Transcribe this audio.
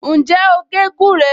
Ǹjẹ́ o gé gúré?